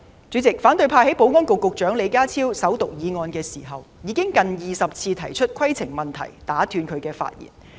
主席，反對派在保安局局長李家超首讀議案時近20次提出規程問題打斷其發言。